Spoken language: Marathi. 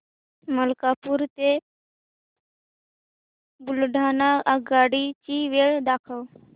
मलकापूर ते बुलढाणा आगगाडी ची वेळ दाखव